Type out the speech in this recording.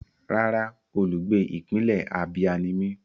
Rárá, olùgbé ìpínlẹ̀ Abia ni mí.